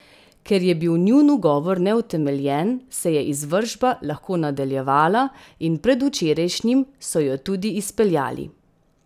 Ker je bil njun ugovor neutemeljen, se je izvršba lahko nadaljevala in predvčerajšnjim so jo tudi izpeljali.